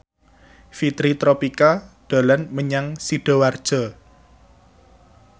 Fitri Tropika dolan menyang Sidoarjo